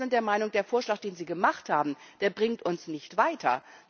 Wir sind der Meinung, der Vorschlag, den Sie gemacht haben, bringt uns nicht weiter.